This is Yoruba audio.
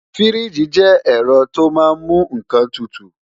Fíríjì jẹ́ ẹ̀rọ tó máa ń mú nǹkan tutù